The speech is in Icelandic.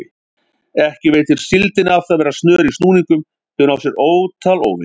Ekki veitir síldinni af að vera snör í snúningum því hún á sér ótal óvini.